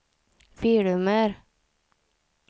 filmer